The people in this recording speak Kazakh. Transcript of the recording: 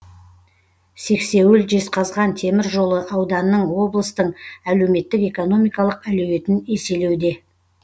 сексеуіл жезқазған темір жолы ауданның облыстың әлеуметтік экономикалық әлеуетін еселеуде